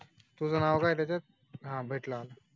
तुजा नाव काय आहि टेचात अहाहा भेटला